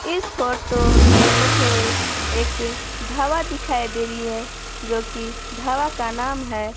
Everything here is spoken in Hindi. इस फोटो में मुझे एक ढाबा दिखाई दे रही है जो कि ढाबा का नाम है।